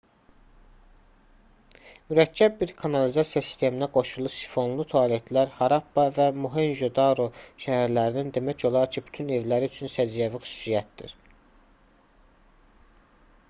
mürəkkəb bir kanalizasiya sisteminə qoşulu sifonlu tualetlər harappa və mohenjo-daro şəhərlərinin demək olar ki bütün evləri üçün səciyyəvi xüsusiyyətdir